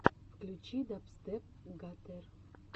включи дабстеп гаттер